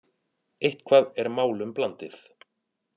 Eitthvað er málum blandið